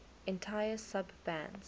entire sub bands